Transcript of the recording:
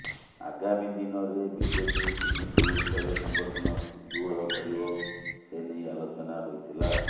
ଆଗାମୀ ଦିନରେ ବିଜେପି କେମିତି ଓଡ଼ିଶାରେ ସଙ୍ଗଠନ ସୁଦୃଢ଼ କରିବ ସେନେଇ ଆଲୋଚନା ହୋଇଥିଲା